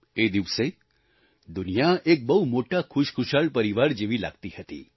એ દિવસે દુનિયા એક બહુ મોટા ખુશખુશાલ પરિવાર જેવી લાગી રહી હતી